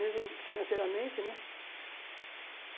Mesmo financeiramente, né?